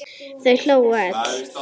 Þau hlógu öll.